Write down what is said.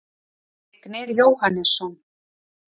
Vignir Jóhannesson